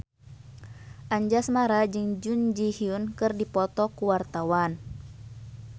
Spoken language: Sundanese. Anjasmara jeung Jun Ji Hyun keur dipoto ku wartawan